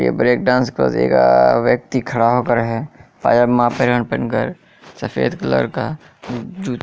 यह break dance को जी का व्यक्ति खड़ा होकर हैपजामा पॅन्ट पहनकर सफेद कलर का जू----